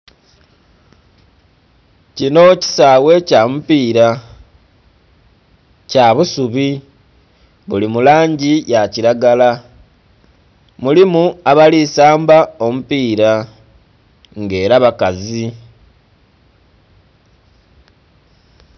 Kinho kisaghe kya mupira kya busubi buli mu langi ya kilagala mulimu abali saamba omupira nga era bakazi.